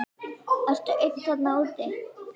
Ertu einn þarna úti?